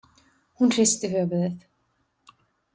Hún hristi höfuðið.